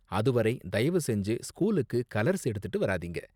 அது வரை, தயவு செஞ்சு ஸ்கூலுக்கு கலர்ஸ் எடுத்துட்டு வராதீங்க.